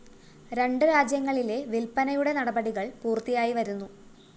രണ്ട് രാജ്യങ്ങളിലെ വില്‍പ്പനയുടെ നടപടികള്‍ പൂര്‍ത്തിയായി വരുന്നു